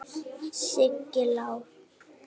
Siggi Lár.